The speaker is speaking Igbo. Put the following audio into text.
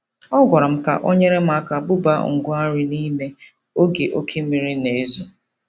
Ọ gwara m ka o nyere m aka bubaa ngwa nri n'ime oge oke mmiri na-ezo.